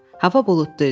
Hava buludlu idi.